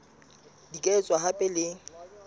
di ka etswa hape le